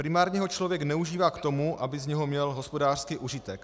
Primárně ho člověk neužívá k tomu, aby z něho měl hospodářský užitek.